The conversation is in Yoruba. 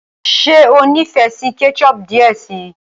ṣe o n'ifẹ sí ketchup diẹ sí.